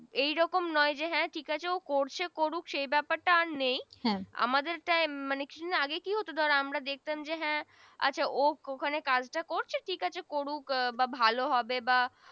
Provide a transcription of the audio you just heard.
এই রকম নয় যে হ্যা ঠিক আছে করছে করুক সেই ব্যাপার নেই হ্যা আমাদের Time মানে আগে কি হত আমরা দেখতাম যে হ্যা আচ্ছা ওখানে কাজ টা করছে ঠিক আছে করুক বা ভালো হবে বা